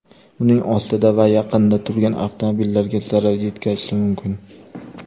uning ostida va yaqinida turgan avtomobillarga zarar yetkazishi mumkin.